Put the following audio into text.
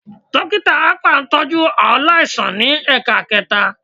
Dókítà akpa ń tọ́jú aláìsàn ní ẹ̀ka ẹ̀kẹta